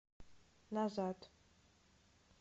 назад